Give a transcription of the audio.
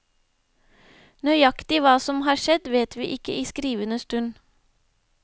Nøyaktig hva som har skjedd vet vi ikke i skrivende stund.